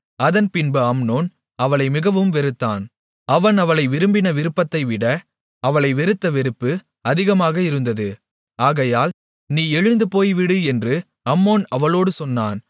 அதன்பின்பு அம்னோன் அவளை மிகவும் வெறுத்தான் அவன் அவளை விரும்பின விருப்பத்தைவிட அவளை வெறுத்த வெறுப்பு அதிகமாக இருந்தது ஆகையால் நீ எழுந்து போய்விடு என்று அம்னோன் அவளோடு சொன்னான்